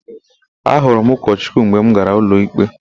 Ahụrụ m ụkọchukwu mgbe m gara ụlọikpe.